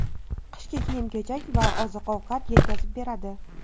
qishki kiyim-kechak va oziq-ovqat yetkazib beradi.